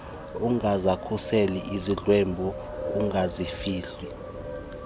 ungazikhuseli izidlwengu ungazifihli